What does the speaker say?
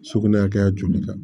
Sugunɛ hakɛ joli kan